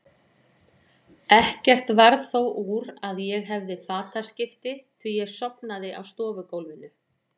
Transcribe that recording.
Ekkert varð þó úr að ég hefði fataskipti, því ég sofnaði á stofugólfinu.